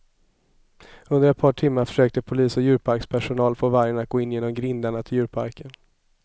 Under ett par timmar försökte polis och djurparkspersonal få vargen att gå in genom grindarna till djurparken.